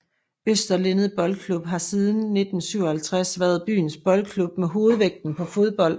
Øster Lindet Boldklub har siden 1957 været byens boldklub med hovedvægten på fodbold